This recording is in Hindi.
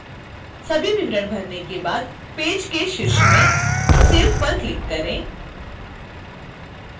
सभी विवरण भरने के बाद पेज के शीर्ष में save पर क्लिक करें